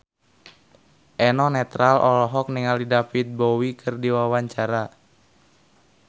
Eno Netral olohok ningali David Bowie keur diwawancara